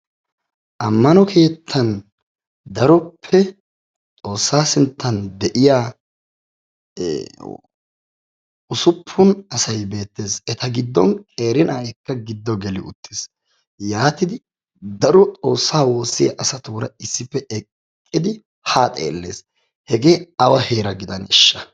Ammano keettan daroppe xoossaa sinttan de'iya usuppun asay beettees. Eta giddon qeeri na"ayikka giddo geli uttis. Yaatidi daro xoossaa woossiya asatuura issippe eqqidi haa xeellees. Hegee awa heera gidaneeshsha?